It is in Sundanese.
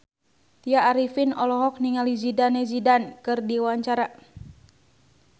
Tya Arifin olohok ningali Zidane Zidane keur diwawancara